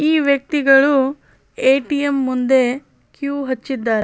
ಈ ವೆಕ್ತಿಗಳು ಏ.ಟಿ.ಎಂ ಮುಂದೆ ಕ ಹಚ್ಚಿದರೆ.